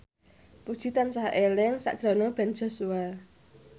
Puji tansah eling sakjroning Ben Joshua